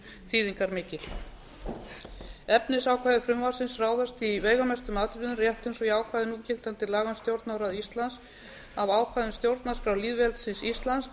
þýðingarmikil efnisákvæði frumvarpsins ráðast því í veigamestum atriðum rétt eins og í ákvæðum núgildandi laga um stjórnarráð íslands af ákvæðum stjórnarskrár lýðveldisins íslands